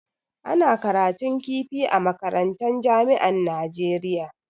Ana karatun kifi a makarantan jami'an Najeriya.